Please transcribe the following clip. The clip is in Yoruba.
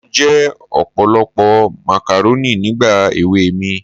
Mo jẹ ọ̀pọ̀lọpọ̀ màkàrónì nígbà èwe mi